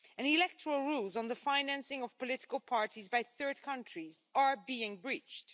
Electoral rules on the financing of political parties by third countries are being breached.